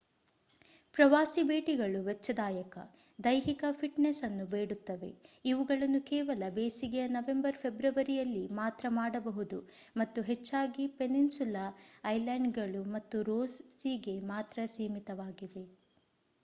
ಪ್ರವಾಸಿ ಭೇಟಿಗಳು ವೆಚ್ಚದಾಯಕ ದೈಹಿಕ ಫಿಟ್‌ನೆಸ್‌ ಅನ್ನು ಬೇಡುತ್ತವೆ ಇವುಗಳನ್ನು ಕೇವಲ ಬೇಸಿಗೆಯ ನವೆಂಬರ್‌-ಫೆಬ್ರವರಿಯಲ್ಲಿ ಮಾತ್ರ ಮಾಡಬಹುದು ಮತ್ತು ಹೆಚ್ಚಾಗಿ ಪೆನಿನ್ಸುಲಾ ಐಲ್ಯಾಂಡ್‌ಗಳು ಮತ್ತು ರೋಸ್‌ ಸೀಗೆ ಮಾತ್ರ ಸೀಮಿತವಾಗಿವೆ